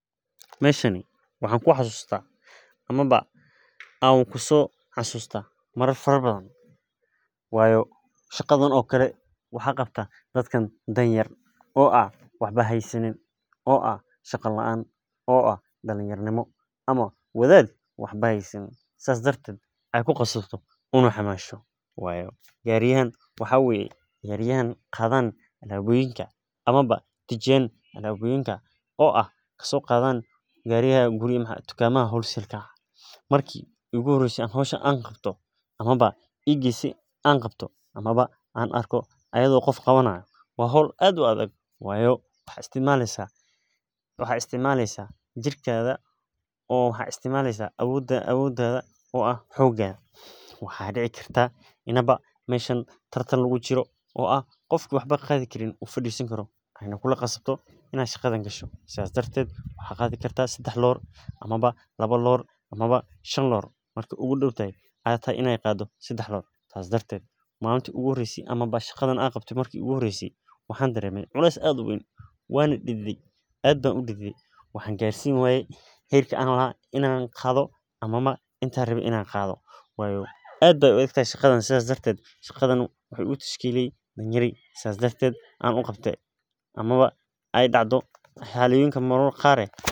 Meeshani waxaan ku xasuusta ama aan kusoo xasuusta mar fara badan shaqadan waxaa qabtaa dad aan waxba haysanin oo aay ku qasabto daruufta gariyahan waa kuwa qaado alaabta oo geeya tukamaha waa howl aad u adag waxaad isticmaleysa xoogada waxa kaga yaaba inuu jiro tartan waxaa laga yaaba inaad qaado jawaano badan marki iigu horeyse aan qaade daal iyo culees qeyn ayaan dareeme.